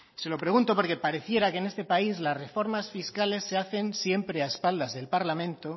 se lo pregunto porque pareciera que en este país las reformas fiscales se hacen siempre a espaldas del parlamento